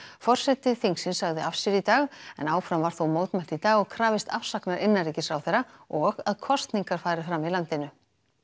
forseti þingsins sagði af sér í dag en áfram var þó mótmælt í dag og krafist afsagnar innanríkisráðherra og að kosningar fari fram í landinu